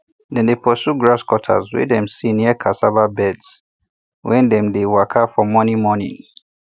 dem dey pursue grasscutters wey dem see near cassava beds wen dem dey waka for morning morning